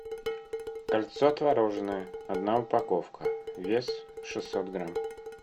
кольцо твороженное одна упаковка вес шестьсот грамм